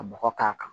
Ka bɔgɔ k'a kan